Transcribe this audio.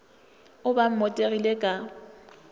o be o mmotegile ka